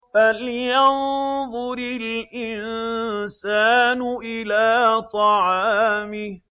فَلْيَنظُرِ الْإِنسَانُ إِلَىٰ طَعَامِهِ